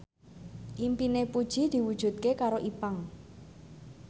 impine Puji diwujudke karo Ipank